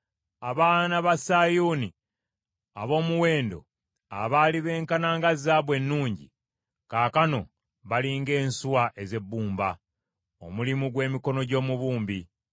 Abaana ba Sayuuni ab’omuwendo abaali beenkana nga zaabu ennungi, kaakano bali ng’ensuwa ez’ebbumba, omulimu gw’emikono gy’omubumbi.